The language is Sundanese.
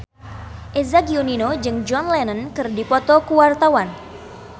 Eza Gionino jeung John Lennon keur dipoto ku wartawan